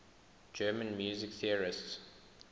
german music theorists